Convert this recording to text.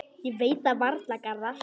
Ég veit það varla, Garðar.